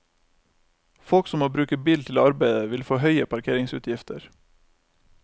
Folk som må bruke bil til arbeidet, vil få høye parkeringsutgifter.